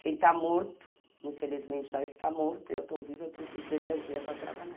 Quem está morto, infelizmente já está morto, e eu estou viva, eu preciso de energia para trabalhar.